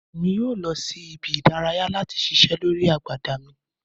Emi yoo lọ si ibi-idaraya lati ṣiṣẹ lori agbada mi